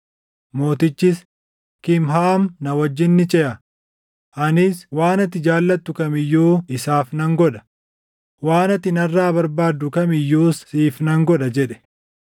Mootichis, “Kimhaam na wajjin ni ceʼa; anis waan ati jaallattu kam iyyuu isaaf nan godha; waan ati narraa barbaaddu kam iyyuus siif nan godha” jedhe.